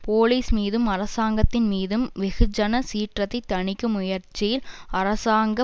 police மீதும் அரசாங்கத்தின் மீதும் வெகுஜன சீற்றத்தை தனிக்கும் முயற்சியில் அரசாங்க